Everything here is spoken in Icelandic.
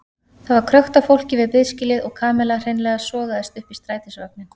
Það var krökkt af fólki við biðskýlið og Kamilla hreinlega sogaðist upp í strætisvagninn.